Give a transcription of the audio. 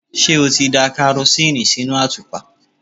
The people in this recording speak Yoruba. Ṣé o ti da karosíìnì sínú àtùpà?